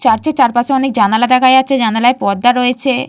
চারটে চারপাশে অনেক জানলা দেখা যাচ্ছে জানলায় পর্দা রয়েছে।